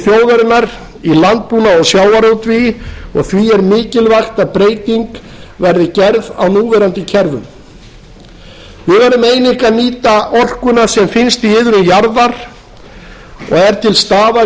þjóðarinnar í landbúnaði og sjávarútvegi og því er mikilvægt að breyting verði gerð á núverandi kerfum við veðrum að nýta orkuna sem finnst í iðrum jarðar og er til staðar í